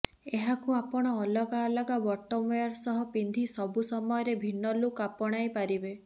ଏହାକୁ ଆପଣ ଅଲଗା ଅଲଗା ବଟମ୍ ୱେର ସହ ପିନ୍ଧି ସବୁ ସମୟରେ ଭିନ୍ନ ଲୁକ୍ ଆପଣାଇ ପାରିବେ